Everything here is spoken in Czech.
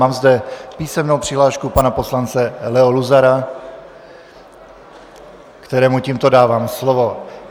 Mám zde písemnou přihlášku pana poslance Leo Luzara, kterému tímto dávám slovo.